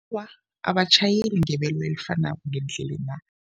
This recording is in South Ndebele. Abatjhayeli ngebelo elifanako ngeendlelena.